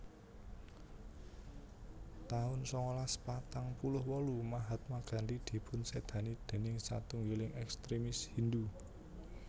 taun sangalas patang puluh wolu Mahatma Gandhi dipunsédani déning satunggiling ekstremis Hindhu